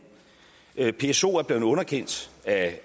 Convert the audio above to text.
psoen er blevet underkendt af